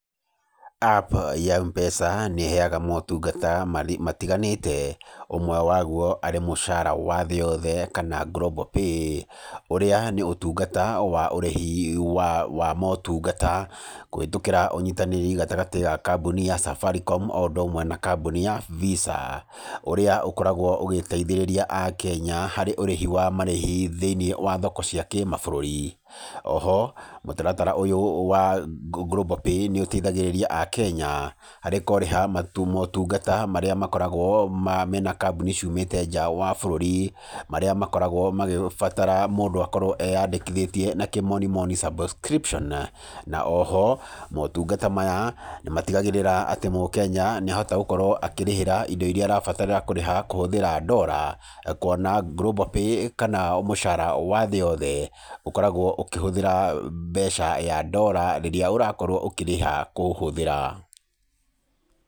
App ya M-pesa nĩheyaga motungata matiganĩte ũmwe waguo arĩ mũcara wa thĩ yothe kana global pay. Ũrĩa nĩ ũtungata wa ũrĩhi wa motungata kũhĩtũkĩra ũnyitanĩri gatagatĩ ga kamboni ya Safaricom o ũndũ ũmwe na kamboni ya Visa ũrĩa ũkoragwo ũgĩteithĩrĩria akenya harĩ ũrĩhi wa marĩhi thĩinĩ wa thoko cia kĩmabũrũri. Oho mũtaratara ũyũ wa global pay nĩũteithagĩrĩria akenya harĩ kũrĩha motungata marĩa makoragwo mena kamboni ciumĩte nja wa bũrũri, marĩa makoragwo magĩbatara mũndũ akorwo eyandĩkithĩtie na kĩmonimoni subscription. Na oho motungata maya nĩmatigagĩrĩra atĩ mũkenya nĩahota gũkorwo akĩrĩhĩra indo iria arabatara kũrĩha kũhĩtũkĩra dora kuona global pay kana mũcara wa thĩ yothe ũkoragwo ũkĩhũthĩra mbeca ya dora rĩrĩa ũrakorwo ũkĩrĩha kũũhũthĩra.